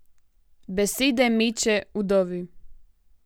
Besede meče Vdovi.